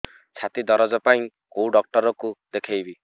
ଛାତି ଦରଜ ପାଇଁ କୋଉ ଡକ୍ଟର କୁ ଦେଖେଇବି